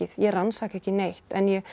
ég rannsaka ekki neitt en ég